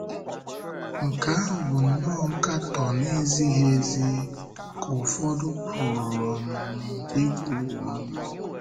‘Nke ahụ bụ̀ nnọọ nkatọ na-ezighị ezi,’ ka ụfọdụ pụrụ um ikwu. um